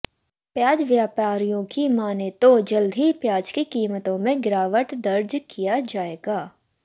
प्याज व्यापारियों की माने तो जल्द ही प्याज की कीमतों में गिरावट दर्ज किया जाएगा